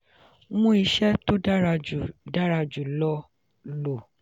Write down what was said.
mú ìṣe tó dára jù dára jù lọ lò